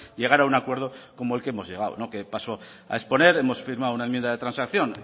llegar a un acuerdo como al que hemos llegado que paso a exponer hemos firmado una enmienda de transacción